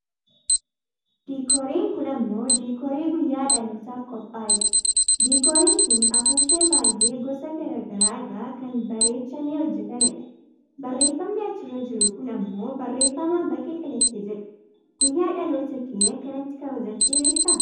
Diikooriin kun ammoo diikoorii guyyaa dhalootaaf qophaa'ee dha. Diikooriin kun afuuffee baayyee gosa gara garaa irraa kan bareechamee hojjatame dha. Barreeffamni achirra jiru kun ammoo barreefama baga dhalatte jedhudha. Guyyaa dhaloota kee akkanatti kabajattee beektaa?